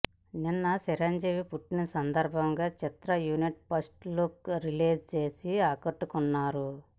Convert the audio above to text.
నిన్న చిరంజీవి పుట్టిన సందర్భాంగా చిత్ర యూనిట్ ఫస్ట్ లుక్ రిలీజ్ చేసి ఆకట్టుకున్నారు